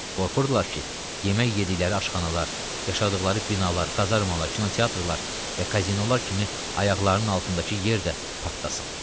Qorxurdular ki, yemək yediyi aşxanalar, yaşadıqları binalar, kazarmalar, kinoteatrlar və kazinolar kimi ayaqlarının altındakı yer də partlasın.